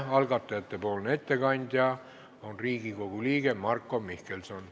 Algatajate ettekandja on Riigikogu liige Marko Mihkelson.